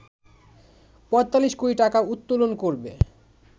৪৫ কোটি টাকা উত্তোলন করবে